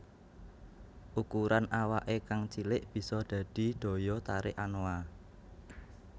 Ukuran awake kang cilik bisa dadi daya tarik anoa